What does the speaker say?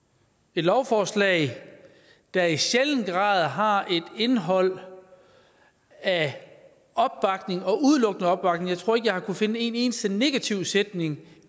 et lovforslag der i sjælden grad har et indhold af opbakning og udelukkende opbakning jeg tror ikke at jeg har kunnet finde en eneste negativ sætning